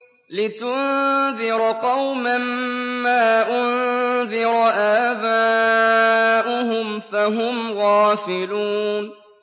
لِتُنذِرَ قَوْمًا مَّا أُنذِرَ آبَاؤُهُمْ فَهُمْ غَافِلُونَ